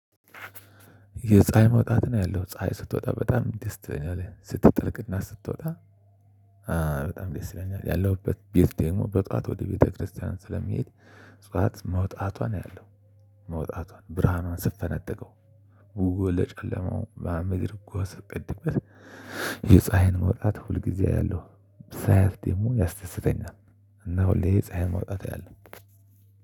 የፀሀይ መውጣትን አያለሁ ፀሀይ ስትወጣ በጣም ደስ ትለኛለች ስትጠልቅ እና ስትወጣ በጣም ደስ ይለኛል። ያለሁበት ቤት ደግሞ በጠዋት ወደ ቤተክርስቲያን ስለምሄድ ጠዋት መውጣቷን አያለሁ። መውጣቷን ብርሃኗን ስትፈነጥቀው ውበ ለጨለማው ምናምን ነገር ጎህ ስትቀድበት። የፀሀይን መውጣት ሁል ጊዜ አያለሁ ሳያት ደግሞ ያስደስተኛል። እና ሁሌ የፀሀይን መውጣት አያለሁ